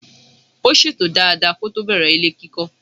Ó ṣètò dada kótó bẹ̀rẹ̀ ilé kíkọ́.